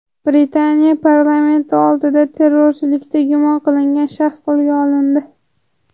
Britaniya parlamenti oldida terrorchilikda gumon qilingan shaxs qo‘lga olindi.